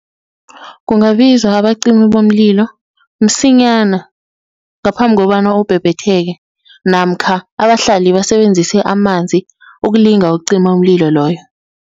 Kungabizwa abacimi bomlilo msinyana, ngaphambi kobana ubhebhetheke namkha abahlali basebenzise amanzi ukulinga ukucima umlilo loyo.